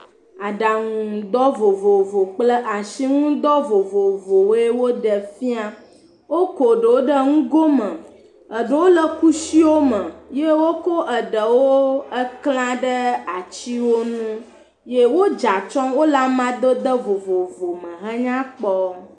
Aɖaŋudɔ vovovo kple ashinudɔ vovovowoe woɖe fia. Woko ɖowo ɖe ŋgo me. Eɖewo le kushiwo me ye woko eɖewo eklã ɖe atsiwo nu ye wodzea atsyɔ. Wole amadede vovovo me henya Kpɔ.